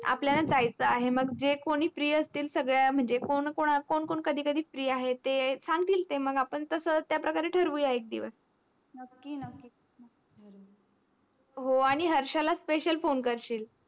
आपल्याला जायेचे आहे मग जे कोणी free असतील सगळे म्हणजे कोण कोण कडी free असतील ते सांगतील ते मग तास ठरवू आपण एक दिवस